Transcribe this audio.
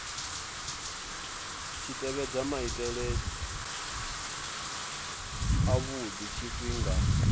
tshi tevhedza maitele avhudi tshifhinga